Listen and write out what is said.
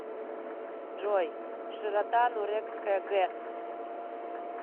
джой широта нурекская гэс